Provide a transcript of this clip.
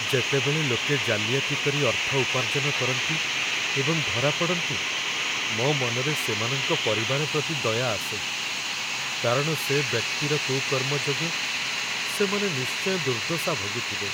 ଯେତେବେଳେ ଲୋକେ ଜାଲିଆତି କରି ଅର୍ଥ ଉପାର୍ଜନ କରନ୍ତି ଏବଂ ଧରାପଡ଼ନ୍ତି, ମୋ ମନରେ ସେମାନଙ୍କ ପରିବାର ପ୍ରତି ଦୟା ଆସେ, କାରଣ ସେ ବ୍ୟକ୍ତିର କୁକର୍ମ ଯୋଗୁଁ ସେମାନେ ନିଶ୍ଚୟ ଦୁର୍ଦ୍ଦଶା ଭୋଗିଥିବେ।